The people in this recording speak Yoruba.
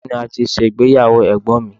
Ọ̀yọ́ ni a ti ṣe ìgbéyàwó Ẹ̀gbọ́n mi.